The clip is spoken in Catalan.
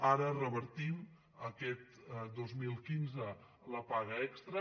ara revertim aquest dos mil quinze la paga extra